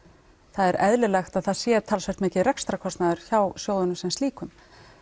það er eðlilegt að það sé talsvert mikill rekstrarkostnaður hjá sjóðunum sem slíkum